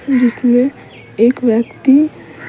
जिसमें एक व्यक्ति --